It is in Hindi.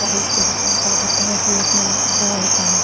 तारीख के रूप में बताया जाता है होता है।